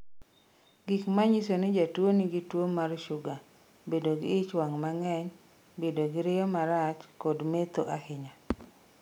Gik Manyiso ni Jatuwo Nigi Tuo mar Shuga Bedo gi ich wang' mang'eny. Bedo gi riyo marach kod metho ahinya.